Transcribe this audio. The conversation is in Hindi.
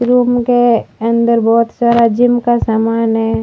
रूम के अंदर बहुत सारा जिम का सामान है।